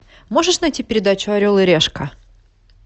можешь найти передачу орел и решка